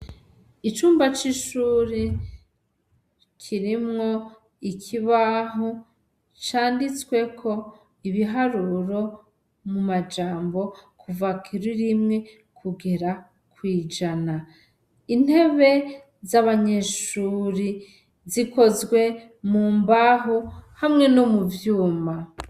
Icumba c'ishuri kirimwo ikibaho canditsweko ibiharuro mu majambo kuva kuri rimwe kugera kw'ijana, intebe z'abanyeshuri zikozwe mu mbaho hamwe no mu vyuma.